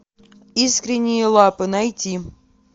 искренние лапы найти